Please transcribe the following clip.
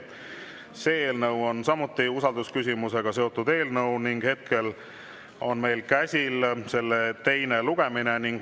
See eelnõu on samuti usaldusküsimusega seotud eelnõu ning hetkel on meil käsil selle teine lugemine.